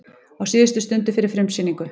Á síðustu stundu fyrir frumsýningu